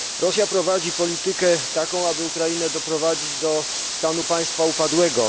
Rosja prowadzi politykę taką, aby Ukrainę doprowadzić do stanu państwa upadłego.